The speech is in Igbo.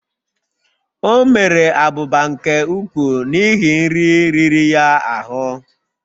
O mere abụba nke ukwuu n'ihi nri riri ya ahụ